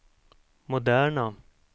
moderna